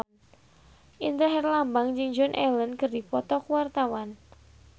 Indra Herlambang jeung Joan Allen keur dipoto ku wartawan